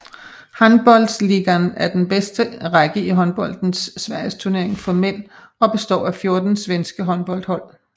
Handbollsligan er er den bedste række i håndboldens sverigesturnering for mænd og består af 14 svenske håndboldhold